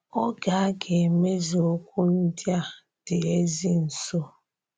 Ògé a gà-emezù okwu ndị a dị́ ezì nso.